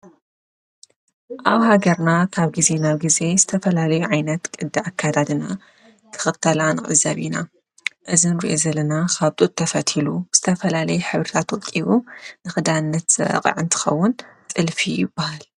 ኣብ ሃገርና ካብ ጊዜ ናብ ጊዜ ዝተፈላለዩ ዓይነት ቅድ ኣካዳድና ክኽተላ ንዕዘብ ኢና፡፡ እዘን ንሪአን ዘለና ኻብ ጡጥ ተፈቲሉ ብዝተፈላለየ ሕብርታት ወቂቡ ንኽዳነት ዝበቕዐ እንትኸዉን ጥልፊ ይባሃል፡፡